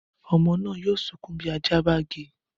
Ọmọ náà yóò sunkún bí ajá bá gé e